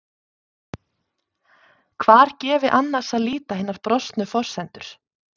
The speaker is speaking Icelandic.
Hvar gefi annars að líta hinar brostnu forsendur?